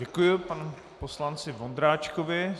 Děkuji panu poslanci Vondráčkovi.